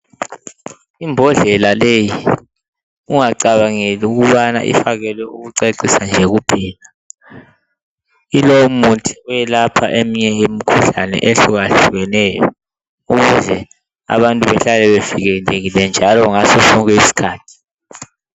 Imbodlela leyi ungacabangeli ukubana ifakelwe ukucecisa nje kuphela ilomuthi oyelapha eminye imikhuhlane ehluka hlukeneyo ukuze abantu behlale bevikelekile njalo ngasosonke isikhathi.